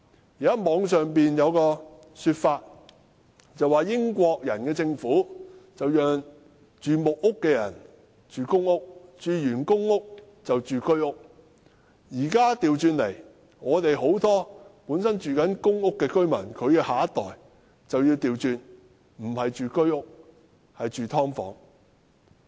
現在互聯網上有一種說法，說英國人的政府讓住在木屋的人遷入公屋，然後遷入居屋；現在情況卻倒過來，很多公屋居民的下一代不是遷入居屋，而是住"劏房"。